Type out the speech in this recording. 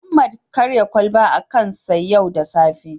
Mohammed karya kwalbar a kansa yau da safe